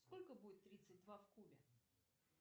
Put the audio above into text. сколько будет тридцать два в кубе